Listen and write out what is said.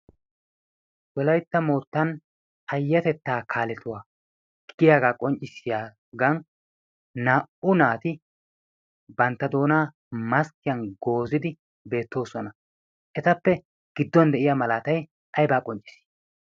wolaytta moottan payyatettaa kaaletuwaa giyaagaa qonccissiyaagan naa'u naati bantta doonaa maskkiyan goozidi beettoosona. etappe gidduwan de'iya malaatay aybaa qoncciisii?